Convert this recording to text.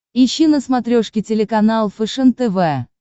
ищи на смотрешке телеканал фэшен тв